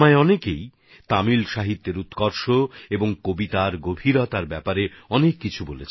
অনেকেই আমাকে তামিল সাহিত্যের গুণ আর সেই ভাষায় লেখা কবিতার গভীরতা নিয়ে অনেক কিছু বলেছেন